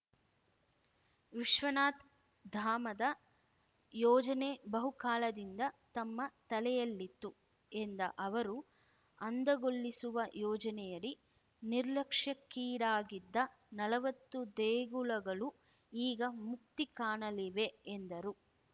ವಿಶ್ವನಾಥ್ ಧಾಮದ ಯೋಜನೆ ಬಹುಕಾಲದಿಂದ ತಮ್ಮ ತಲೆಯಲ್ಲಿತ್ತು ಎಂದ ಅವರು ಅಂದಗೊಳಿಸುವ ಯೋಜನೆಯಡಿ ನಿರ್ಲಕ್ಷ್ಯಕ್ಕೀಡಾಗಿದ್ದ ನಲ್ವತ್ತು ದೇಗುಲಗಳೂ ಈಗ ಮುಕ್ತಿಕಾಣಲಿವೆ ಎಂದರು